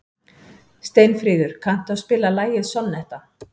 Steinfríður, kanntu að spila lagið „Sonnetta“?